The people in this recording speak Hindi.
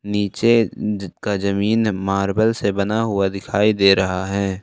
नीचे का जमीन मार्बल से बना हुआ दिखाई दे रहा है।